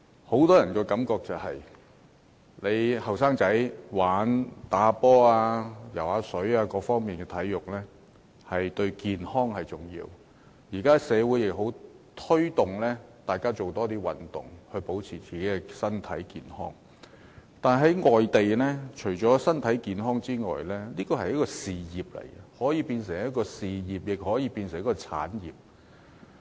很多人認為年輕人打球和游泳等，進行各方面的體育運動，對健康很重要，而社會現在亦很鼓勵大家多做運動，保持身體健康，但是，在世界其他地方，體育運動除了是為身體健康而進行的活動，也是一門事業，更可變成一項產業。